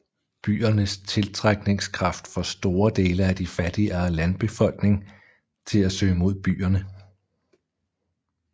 Byernes tiltrækningskraft får store dele af de fattigere landbefolkning til at søge mod byerne